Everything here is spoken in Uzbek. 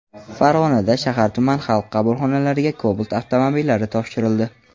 Farg‘onada shahar-tuman Xalq qabulxonalariga Cobalt avtomobillari topshirildi .